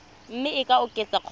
mme e ka oketswa kgotsa